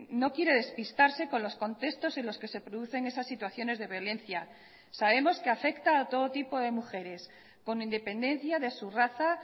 no quiere despistarse con los contextos en los que se producen esas situaciones de violencia sabemos que afecta a todo tipo de mujeres con independencia de su raza